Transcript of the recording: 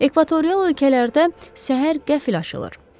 Ekvatorial ölkələrdə səhər qəfil açılır.